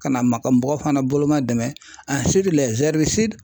Ka na maka mɔgɔw fana bolo ma dɛmɛ